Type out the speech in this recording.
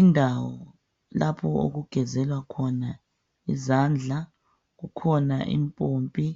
Indawo lapho okugezelwa khona izandla. Kukhona impompi